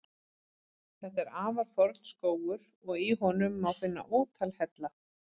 Þetta er afar forn skógur og í honum má finna ótal hella.